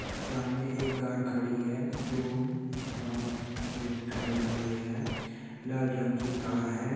सामने एक कार खड़ी है जो हबामे हे टंगाई हुई है लाल रंग की कार है।